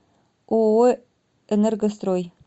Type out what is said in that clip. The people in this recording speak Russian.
ооо энергострой